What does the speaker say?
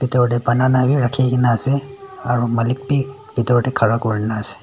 btor tae banana bi rakhikaena ase aro malik bi bitor tae khara kurinaase.